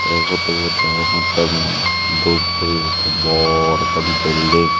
ei photo but degongottey mui dhup guri ekkan bor ekkan building.